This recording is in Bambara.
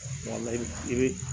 Wala i bɛ i bɛ